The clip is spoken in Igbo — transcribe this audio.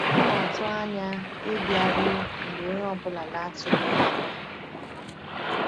Ọ na-atụ anya ịbịaru mgbe onye ọ bụla na-atụghị ya anya.